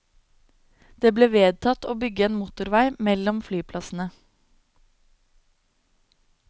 Det ble vedtatt å bygge en motorvei mellom flyplassene.